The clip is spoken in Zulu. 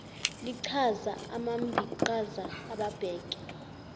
lichaza abambiqhaza ababheke